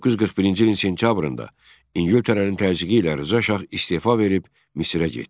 1941-ci ilin sentyabrında İngiltərənin təzyiqi ilə Rza Şah istefa verib Misrə getdi.